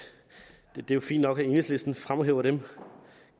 det er jo fint nok at enhedslisten fremhæver dem